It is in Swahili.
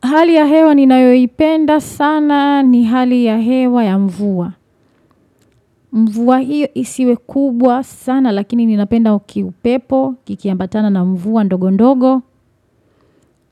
Hali ya hewa ninayoipenda sana ni hali ya hewa ya mvua. Mvua hiyo isiwe kubwa sana lakini ninapenda ukiu pepo, kikiambatana na mvua ndogo ndogo.